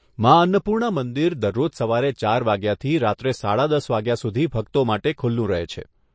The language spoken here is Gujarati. મા અન્નપૂર્ણા મંદિર દરરોજ સવારે ચાર વાગ્યાથી રાત્રે સાડા દસ વાગ્યા સુધી ભક્તો માટે ખુલ્લું રહે છે.